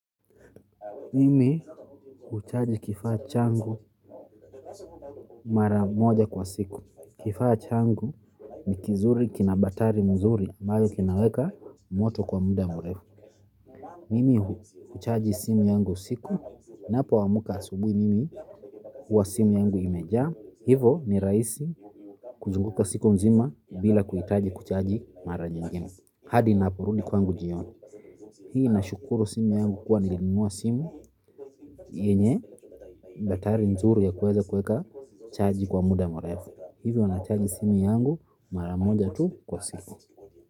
Mimi huchaji kifaa changu mara moja kwa siku. Kifaa changu ni kizuri kina batari mzuri ambayo kinaweka moto kwa muda mrefu. Mimi huchaji simu yangu usiku ninapoamka asubuhi mimi huwa simu yangu imejaa. Hivyo ni rahisi kuzunguka siku nzima bila kuhitaji kuchaji mara nyingine hadi ninaporudi kwangu jioni. Hii nashukuru simu yangu kuwa nilinunua simu yenye batari nzuri ya kuweza kuweka chaji kwa muda mrefu hivyo nachaji simu yangu mara moja tu kwa siku.